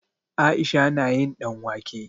Aisha na yin ɗanwake.